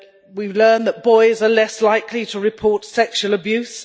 We learn that boys are less likely to report sexual abuse.